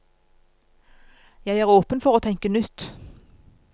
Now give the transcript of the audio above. Jeg er åpen for å tenke nytt.